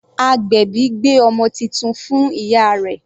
Agbèbí gbé ọmọ titun fún ìyá rẹ̀